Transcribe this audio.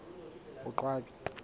boqwabi